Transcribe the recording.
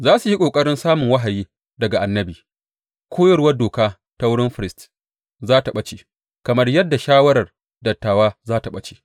Za su yi ƙoƙarin samun wahayi daga annabi; koyarwar doka ta wurin firist za tă ɓace, kamar yadda shawarar dattawa za tă ɓace.